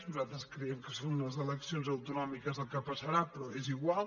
nosaltres creiem que són unes eleccions autonòmiques el que passarà però és igual